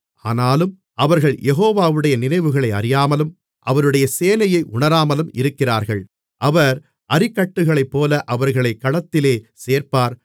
ஆனாலும் அவர்கள் யெகோவாவுடைய நினைவுகளை அறியாமலும் அவருடைய யோசனையை உணராமலும் இருக்கிறார்கள் அவர் அரிக்கட்டுகளைப்போல அவர்களைக் களத்திலே சேர்ப்பார்